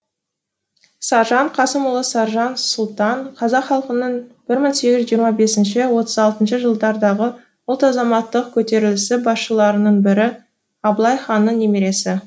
саржан қасымұлы саржан сұлтан қазақ халқының бір мың сегіз жүз жиырма бесінші отыз алыншы жылдардағы ұлт азаттық көтерілісі басшыларының бірі абылай ханның немересі